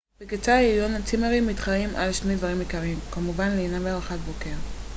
בקצה העליון צימרים מתחרים על שני דברים עיקריים כמובן לינה וארוחת בוקר